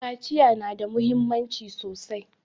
Kaciya na da muhimmanci sosai